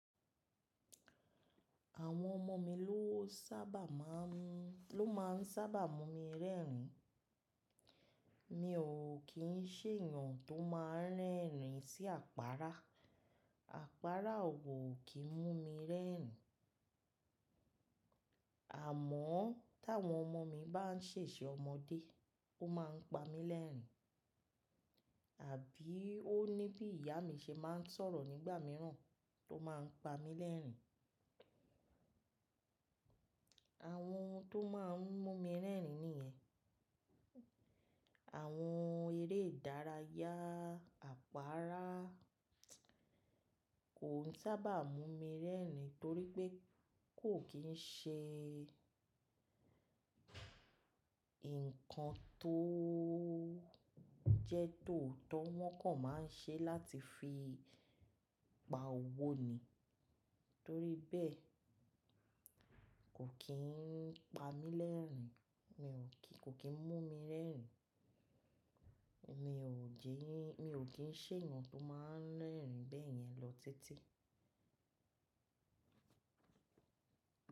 Àwọn ọmọ mi ló sábà máa ń, ló máa ń sábà mú mi rẹ́rìn. Mi ò kí ń ṣe èèyàn tó máa ń rẹ́rìn sí àpáárá. Àpáárá ò kí ń mú mi rẹ́rìn. Àmọ́ tawọn ọmọ mi bá ń ṣèṣe ọmọdé, ó máa ń pa mí lẹ́rìn. Àbí ó ní bí ìyá mi ṣe máa ń sọ̀rọ̀ nígbà mìíràn tó máa ń pa mí lẹ́rìn. Àwọn ohun tó máa ń mú mi rẹ́rìn nìyẹn. Àwọn eré ìdárayá, àpáárá kò n sábà mú mi rẹ́rìn torí pé kò kí ń ṣe nǹkan tóoo jẹ́ tòótọ́ wọ́n kàn máa ń ṣe láti fi pa òwò ni. Torí bẹ́ẹ̀ kò kí ń pa mí lẹ́rìn, mi ò kí, kò kí ń mú mi rẹ́rìn. Mi ò jí, mi ò kí ń ṣe èèyàn tó máa ń rẹ́rìn bẹ́ẹ̀ yẹn lọ títí.